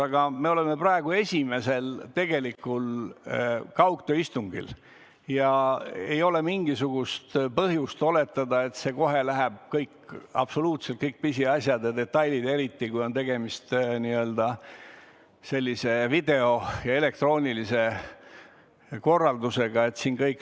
Aga me oleme praegu esimesel tegelikul kaugtööistungil ja ei ole erilist alust eeldada, et see kohe läheb hästi, absoluutselt kõik pisiasjad ja detailid sujuvad, eriti kui on tegemist sellise video- ja üldse elektroonilise korraldusega.